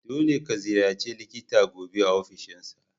Dolle ka ziyarace likita gobe a ofishinsa.